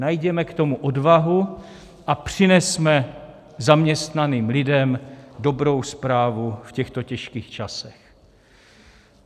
Najděme k tomu odvahu a přinesme zaměstnaným lidem dobrou zprávu v těchto těžkých časech.